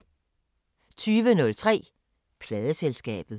20:03: Pladeselskabet